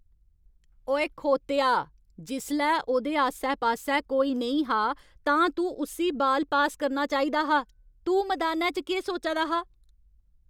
ओए खोतेआ। जिसलै ओह्दे आस्सै पास्सै कोई नेईं हा तां तूं उस्सी बाल पास करना चाहिदा हा। तूं मदानै च केह् सोचा दा हा?